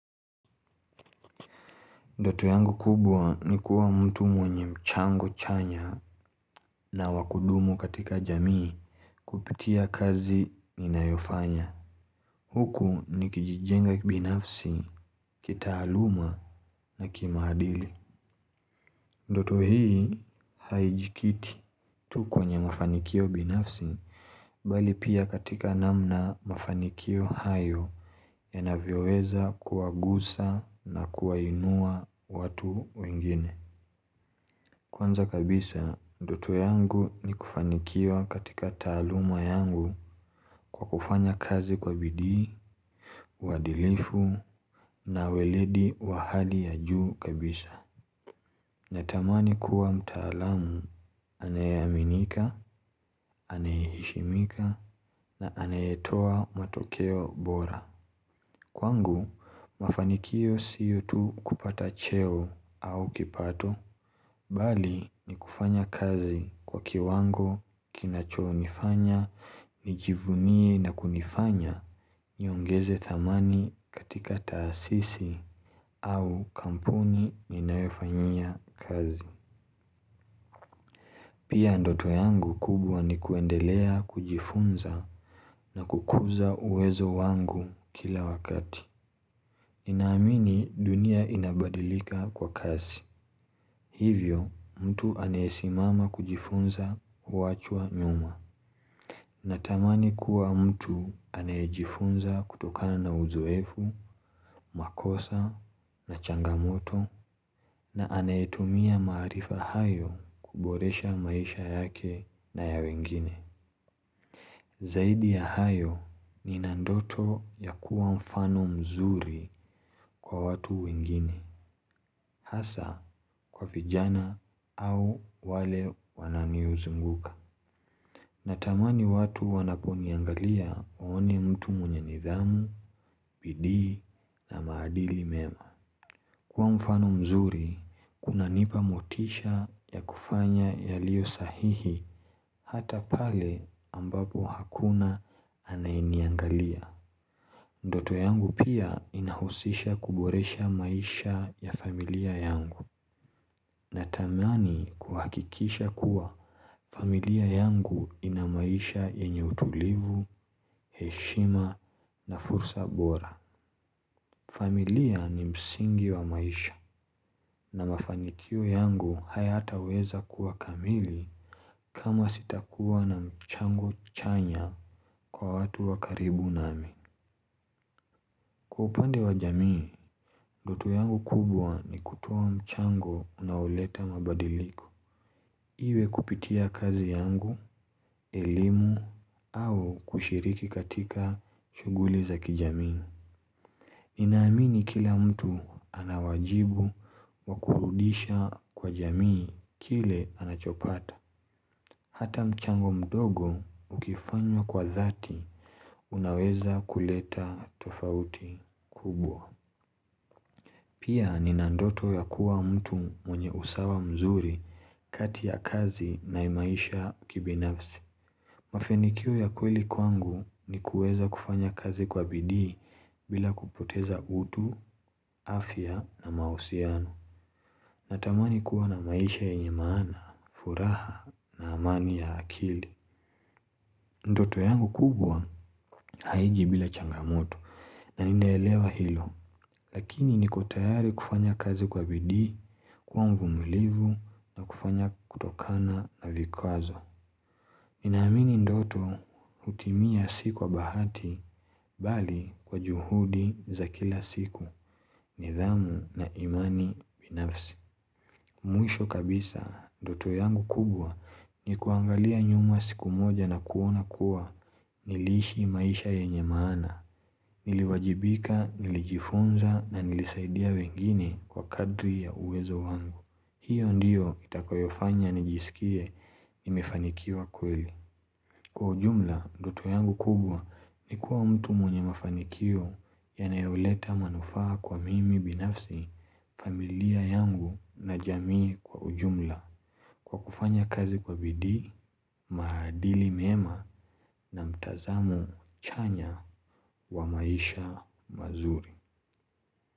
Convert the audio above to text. Ndoto yangu kubwa ni kuwa mtu mwenye mchango chanya na wakudumu katika jamii kupitia kazi ninayofanya. Huku ni kijijenga binafsi, kitaaluma na kimaadili. Ndoto hii haijikiti tu kwenye mafanikio binafsi, bali pia katika namna mafanikio hayo yanavyoweza kuwagusa na kuwainua watu wengine. Kwanza kabisa, doto yangu ni kufanikiwa katika taaluma yangu kwa kufanya kazi kwa bidii, uwadilifu na weledi wa hali ya juu kabisa. Natamani kuwa mtaalamu, anayeaminika, anayeheshimika na anayetoa matokeo bora. Kwangu mafanikio siyo tu kupata cheo au kipato Bali ni kufanya kazi kwa kiwango kinachonifanya nijivunie na kunifanya niongeze thamani katika taasisi au kampuni ninayoifanyia kazi Pia ndoto yangu kubwa ni kuendelea kujifunza na kukuza uwezo wangu kila wakati Ninaamini dunia inabadilika kwa kasi. Hivyo mtu anayesimama kujifunza huachwa nyuma. Natamani kuwa mtu anayejifunza kutokana na uzoefu, makosa na changamoto na anayetumia maarifa hayo kuboresha maisha yake na ya wengine. Zaidi ya hayo nina ndoto ya kuwa mfano mzuri kwa watu wengine, hasa kwa vijana au wale wananiuzunguka. Natamani watu wanaponiangalia waone mtu mwenye nidhamu, bidii na maadili mema. Kuwa mfano mzuri, kuna nipa motisha ya kufanya yalio sahihi hata pale ambapo hakuna anayeniangalia. Ndoto yangu pia inahusisha kuboresha maisha ya familia yangu natamani kuhakikisha kuwa familia yangu inamaisha yenye utulivu, heshima na fursa bora. Familia ni msingi wa maisha na mafanikio yangu hayataweza kuwa kamili kama sitakuwa na mchango chanya kwa watu wa karibu nami. Kwa upande wa jamii, ndoto yangu kubwa ni kutoa mchango unaoleta mabadiliku Iwe kupitia kazi yangu, elimu au kushiriki katika shuguli za kijamii Ninaamini kila mtu anawajibu wakurudisha kwa jamii kile anachopata Hata mchango mdogo ukifanywa kwa dhati unaweza kuleta tofauti kubwa Pia nina ndoto ya kuwa mtu mwenye usawa mzuri kati ya kazi na imaisha kibinafsi. Mafenikio ya kweli kwangu ni kueza kufanya kazi kwa bidii bila kupoteza utu, afya na mahusiano. Natamani kuwa na maisha ya nyemana, furaha na amani ya akili. Ndoto yangu kubwa haiji bila changamoto na ninaelewa hilo. Lakini niko tayari kufanya kazi kwa bidii, kuwa mvumilivu, kufanya kutokana na vikwazo. Ninaamini ndoto hutimia si kwa bahati bali kwa juhudi za kila siku nidhamu na imani binafsi. Mwisho kabisa, ndoto yangu kubwa ni kuangalia nyuma siku moja na kuona kuwa niliishi maisha yenye maana. Niliwajibika, nilijifunza na nilisaidia wengine kwa kadri ya uwezo wangu hiyo ndiyo itakoyofanya nijisikie nimefanikiwa kweli Kwa ujumla, ndoto yangu kubwa ni kuwa mtu mwenye mafanikio Yanayoleta manufaa kwa mimi binafsi, familia yangu na jamii kwa ujumla Kwa kufanya kazi kwa bidii, maadili mema na mtazamo chanya wa maisha mazuri.